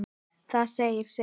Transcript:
Það segir sitt.